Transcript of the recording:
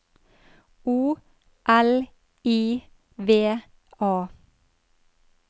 O L I V A